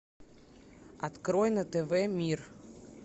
открой на тв мир